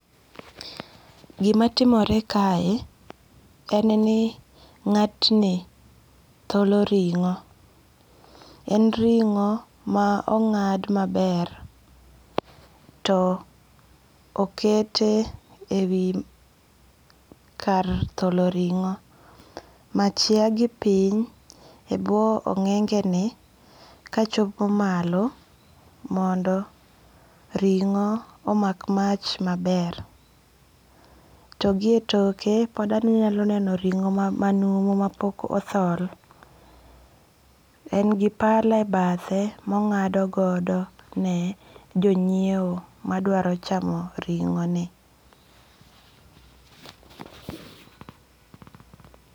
Gimatimore kae en ni nga'tni tholo ringo', en ringo' ma onga'd maber to okete wi kar tholo ringo, mach ya gi piny e bwo onge'ge' ni kachopo malo mondo ringo' omak mach maber to gi etoke pod onyalo neno ringo' ma manumu ma pok othol, en gi pala e bathe ma ongadogodo ne jo nyiewo madwaro chamo ringo' ni